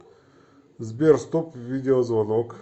сбер стоп видеозвонок